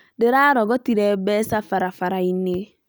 Ndĩrarogotĩre mbeca barabara-inĩ